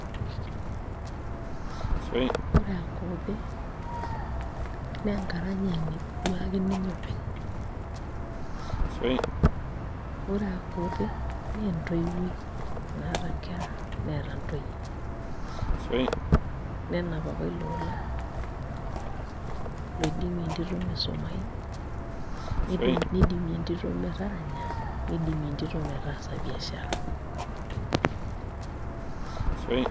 Ore Akothee, nenkaranyani duo ake ninye openy. Ore Akothee, nentoiwuoi naata nkera, neeta ntoyie. Nenap apa ilo ola, loidimie entito misumayu. Nidimie entito metaranya, nidimie entito metaasa biashara.